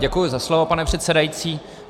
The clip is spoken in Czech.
Děkuji za slovo, pane předsedající.